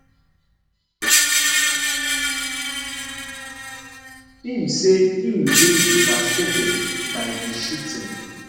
im say im dey devastated by di shooting